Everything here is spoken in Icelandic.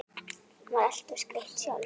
Hún var alltaf skreytt sjálf.